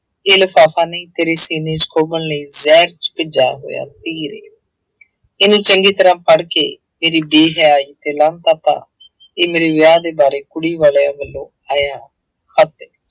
ਇਹ ਲਿਫ਼ਾਫ਼ਾ ਨਹੀਂ ਤੇਰੇ ਸੀਨੇ ਚ ਖੋਭਣ ਲਈ ਜ਼ਹਿਰ ਚ ਭਿੱਜਾ ਹੋਇਆ ਤੀਰ ਹੈ ਇਹਨੂੰ ਚੰਗੀ ਤਰ੍ਹਾਂ ਪੜ੍ਹ ਕੇ ਇਹ ਮੇਰੇ ਵਿਆਹ ਦੇ ਬਾਰੇ ਕੁੜੀ ਵਾਲਿਆਂ ਵੱਲੋਂ ਆਇਆ ਖਤ ਹੈ।